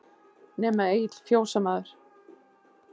Nema Egill fjósamaður.